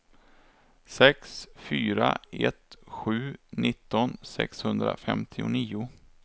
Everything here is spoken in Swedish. sex fyra ett sju nitton sexhundrafemtionio